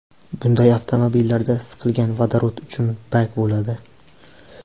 Bunday avtomobillarda siqilgan vodorod uchun bak bo‘ladi.